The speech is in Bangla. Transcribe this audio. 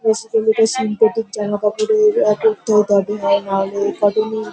বেসিক্যালি এটা সিন্থেটিক জামাকাপড়ের অপথ্য দাবি হয় নাহলে একাডেমি --